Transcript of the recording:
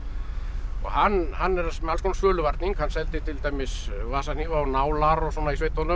og hann hann er með alls konar söluvarning hann seldi til dæmis vasahnífa og nálar í sveitunum